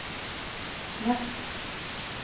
Ness